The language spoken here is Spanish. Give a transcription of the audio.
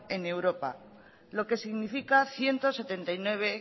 en europa lo que significa ciento setenta y nueve